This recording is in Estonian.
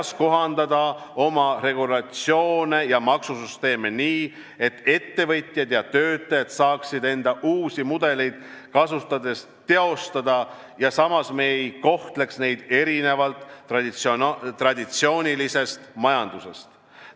Kuidas kohandada oma regulatsioone ja maksusüsteemi nii, et ettevõtjad ja töötajad saaksid end uusi mudeleid kasutades teostada ja samas ei kohtleks me neid erinevalt traditsioonilisest majandusest?